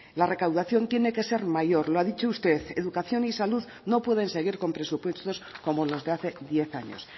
la recaudación tiene que ser mayor lo ha dicho usted educación y salud no pueden seguir con presupuestos como los de hace diez años